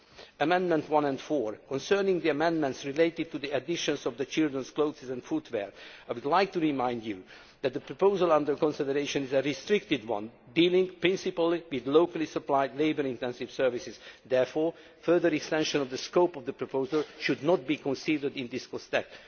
On Amendments 1 and 4 concerning the amendments related to the addition of children's clothes and footwear, I would like to remind you that the proposal under consideration is a restricted one dealing principally with locally supplied, labour intensive services. Therefore, further extensions of the scope of the proposal should not be considered in this context.